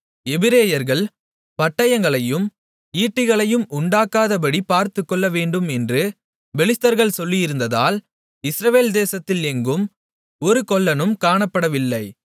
எபிரெயர்கள் பட்டயங்களையும் ஈட்டிகளையும் உண்டாக்காதபடிப் பார்த்துகொள்ள வேண்டும் என்று பெலிஸ்தர்கள் சொல்லியிருந்ததால் இஸ்ரவேல் தேசத்தில் எங்கும் ஒரு கொல்லனும் காணப்படவில்லை